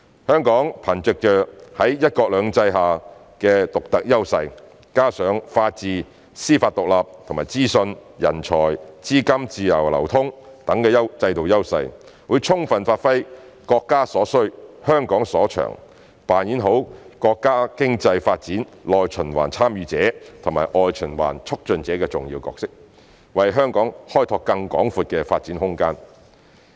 香港憑藉在"一國兩制"下的獨特優勢，加上法治、司法獨立及資訊、人才和資金自由流通等制度優勢，會充分發揮"國家所需，香港所長"，扮演好國家經濟發展內循環"參與者"及外循環"促進者"的重要角色，為香港開拓更廣闊的發展空間。